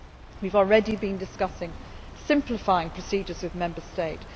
We have already been discussing simplifying procedures with Member States.